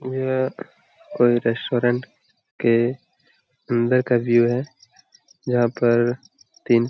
यह कोई रेस्टोरेंट के अंदर का व्यू है यहां पर तीन--